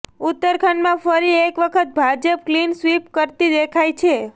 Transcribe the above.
ઉત્તરાખંડમાં ફરી એકવખત ભાજપ ક્લીન સ્વીપ કરતી દેખાય છે